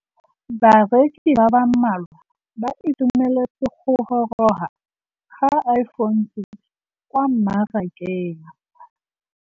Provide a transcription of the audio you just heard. Bareki ba ba malwa ba ituemeletse go gôrôga ga Iphone6 kwa mmarakeng.